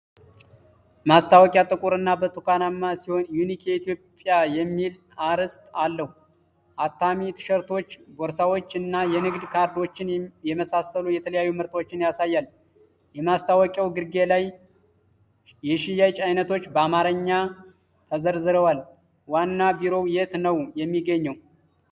ማስታወቂያ ጥቁር እና ብርቱካንማ ሲሆን 'ዩኒክ ኢትዮጵያ' የሚል አርዕስት አለው። አታሚ፣ ቲሸርቶች፣ ቦርሳዎች እና የንግድ ካርዶችን የመሳሰሉ የተለያዩ ምርቶችን ያሳያል። የማስታወቂያው ግርጌ ላይ የሽያጭ አይነቶች በአማርኛ ተዘርዝረዋል። ዋና ቢሮው የት ነው የሚገኘው?